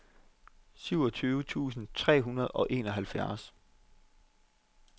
syvogtyve tusind tre hundrede og enoghalvfjerds